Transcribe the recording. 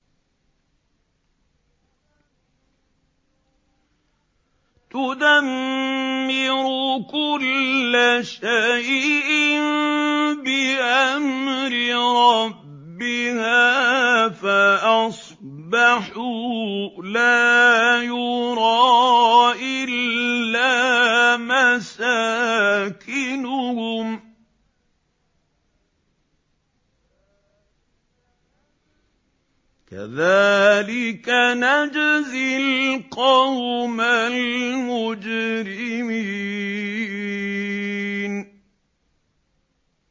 تُدَمِّرُ كُلَّ شَيْءٍ بِأَمْرِ رَبِّهَا فَأَصْبَحُوا لَا يُرَىٰ إِلَّا مَسَاكِنُهُمْ ۚ كَذَٰلِكَ نَجْزِي الْقَوْمَ الْمُجْرِمِينَ